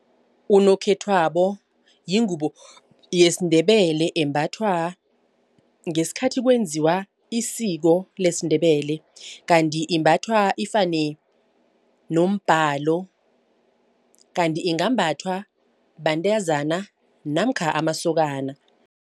Unokhethwabo yingubo yesiNdebele embathwa ngesikhathi kwenziwa isiko lesiNdebele. Kanti imbathwa ifane nombhalo. Kanti ingambathwa bantazana namkha amasokana.